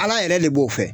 Ala yɛrɛ le b'o fɛ